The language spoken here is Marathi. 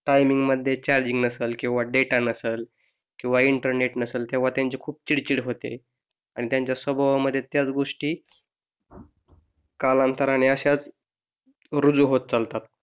चार्जिंग नसलं किंवा डेटा नसलं किंवा इंटरनेट नसलं तेव्हा त्यांची खूप चिडचिड होते अन त्यांच्या स्वभावामध्ये त्याच गोष्टी कालांतराने अशाच रूजू होत चालतात